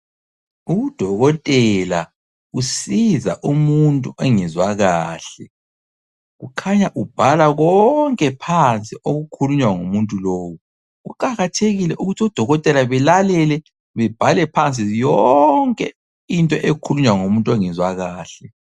Udokotela usiza umuntu engezwa kahle. Kukhanya ubhala konke phansi okukhulunywa ngumuntu lowu. Kuqakathekile ukuthi odokotela belalele bebhale phansi yonke into ekhulunywa ngumuntu ongezwa kahle.